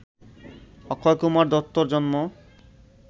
অক্ষয়কুমার দত্তর জন্ম